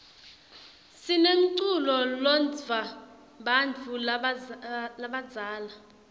sinemculo lotsndvwa bantfu labadzala